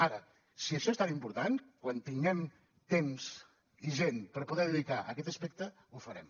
ara si això és tan important quan tinguem temps i gent per poder dedicar a aquest aspecte ho farem